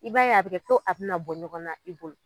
I b'a ye a bɛ kɛ ko a bɛna bɔ ɲɔgɔn na i bolo.